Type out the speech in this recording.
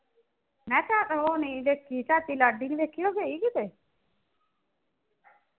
ਮੈ ਕਿਹਾ ਉਹ ਨੀ ਦੇਖੀ ਤੁਹਾਡੀ ਲਾਡੀ ਨੀ ਵੇਖੀ, ਉਹ ਗਈ ਕਿਤੇ